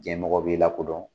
Jɛnmɔgɔw b'i lakodɔn